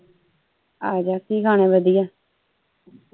ਆਜਾ ਕੀ ਖਾਣਾ ਈ ਵਧੀਆ?